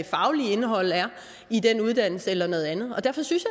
faglige indhold er i den uddannelse eller noget andet og derfor synes